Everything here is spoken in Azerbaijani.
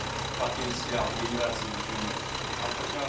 Potensial generasiya gücümüz artacaq.